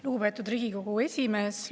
Lugupeetud Riigikogu esimees!